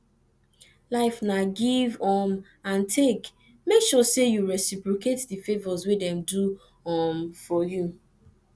life na give um and take make sure say you reciprocate the favours wey dem do um for you